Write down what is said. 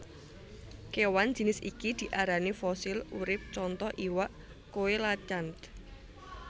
Kewan jinis iki diarani fosil urip contoh iwak coelacanth